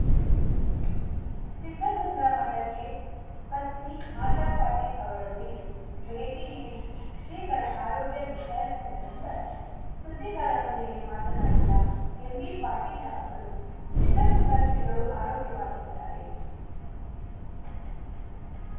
ಉಂ ಸಿದ್ಧಗಂಗಾ ಮಠಕ್ಕೆ ಪತ್ನಿ ಆಶಾಪಾಟೀಲ್‌ ಅವರೊಂದಿಗೆ ಭೇಟಿ ನೀಡಿ ಶ್ರೀಗಳ ಆರೋಗ್ಯ ವಿಚಾರಿಸಿದ ನಂತರ ಸುದ್ದಿಗಾರರೊಂದಿಗೆ ಮಾತನಾಡಿದ ಎಂಬಿಪಾಟೀಲ ಅವರು ಸಿದ್ಧಗಂಗಾ ಶ್ರೀಗಳು ಆರೋಗ್ಯವಾಗಿದ್ದಾರೆ